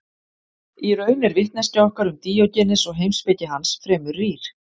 í raun er vitneskja okkar um díógenes og heimspeki hans fremur rýr